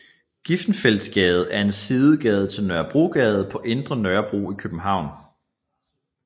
Griffenfeldsgade er en sidegade til Nørrebrogade på Indre Nørrebro i København